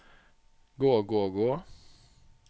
gå gå gå